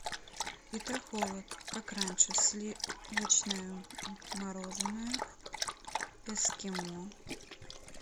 петрохолод как раньше сливочное мороженое эскимо